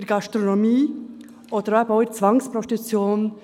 Sie sehen es auch in der Gastronomie oder der Zwangsprostitution.